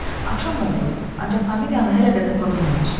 Axşam oldu, ancaq familiyanı hələ də tapa bilməmişdilər.